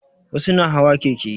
Wasu na hawa keke